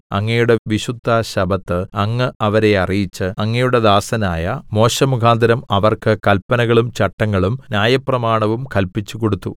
അങ്ങയുടെ വിശുദ്ധശബ്ബത്ത് അങ്ങ് അവരെ അറിയിച്ച് അങ്ങയുടെ ദാസനായ മോശെമുഖാന്തരം അവർക്ക് കല്പനകളും ചട്ടങ്ങളും ന്യായപ്രമാണവും കല്പിച്ചുകൊടുത്തു